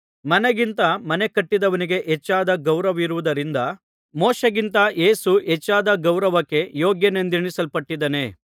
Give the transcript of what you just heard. ಮನೆಗಿಂತ ಮನೆಕಟ್ಟಿದವನಿಗೆ ಹೆಚ್ಚಾದ ಗೌರವವಿರುವುದರಿಂದ ಮೋಶೆಗಿಂತ ಯೇಸು ಹೆಚ್ಚಾದ ಗೌರವಕ್ಕೆ ಯೋಗ್ಯನೆಂದೆಣಿಸಲ್ಪಟ್ಟಿದ್ದಾನೆ